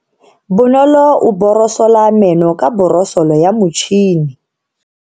Bonolo o borosola meno ka borosolo ya motšhine.